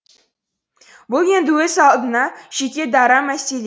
бұл енді өз алдына жеке дара мәселе